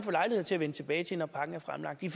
lejlighed til at vende tilbage til når pakken er fremlagt i